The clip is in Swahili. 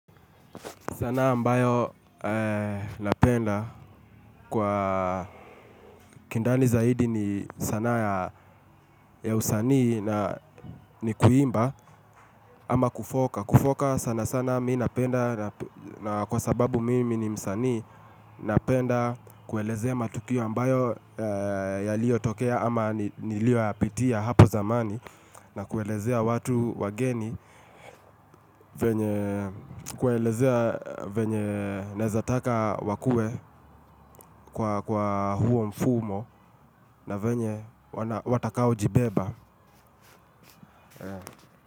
Sanaa ambayo napenda kwa kindani zaidi ni sanaa ya usanii na ni kuimba ama kufoka. Kufoka sana sana mi napenda na kwa sababu mimi ni msanii napenda kuelezea matukio ambayo yaliyotokea ama niliyoyapitia hapo zamani na kuelezea watu wageni, kuwaelezea venye naeza taka wakue kwa huo mfumo na venye watakao jibeba.